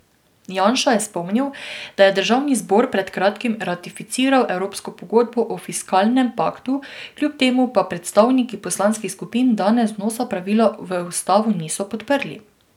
Janša je spomnil, da je državni zbor pred kratkim ratificiral evropsko pogodbo o fiskalnem paktu, kljub temu pa predstavniki poslanskih skupin danes vnosa pravila v ustavo niso podprli.